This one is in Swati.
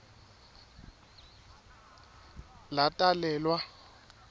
latalelwa